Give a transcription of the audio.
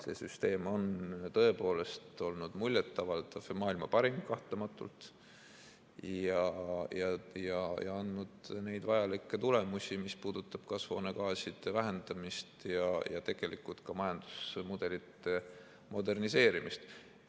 See süsteem on tõepoolest olnud muljet avaldav ja maailma parim kahtlematult ja andnud neid vajalikke tulemusi, mis puudutab kasvuhoonegaaside vähendamist ja tegelikult ka majandusmudelite moderniseerimist.